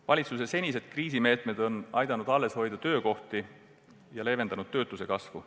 Valitsuse senised kriisimeetmed on aidanud alles hoida töökohti ja leevendanud töötuse kasvu.